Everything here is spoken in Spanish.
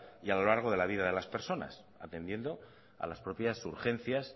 y a lo largo de la vida de las personas atendiendo a las propias urgencias